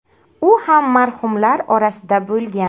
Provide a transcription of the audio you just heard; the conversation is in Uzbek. U ham marhumlar orasida bo‘lgan.